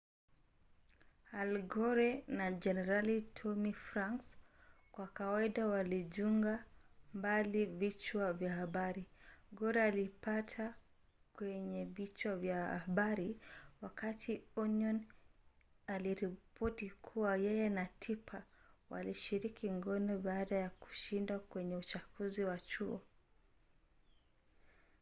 al gore na jenerali tommy franks kwa kawaida walinjuga mbali vichwa vya habari gore alijipata kwenye vichwa vya habari wakati onion aliripoti kuwa yeye na tipper walishiriki ngono baada ya kushindwa kwenye uchaguzi wa chuo